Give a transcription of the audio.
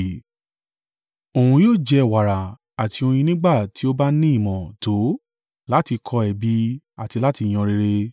Òun yóò jẹ wàrà àti oyin nígbà tí ó bá ní ìmọ̀ tó láti kọ ẹ̀bi àti láti yan rere.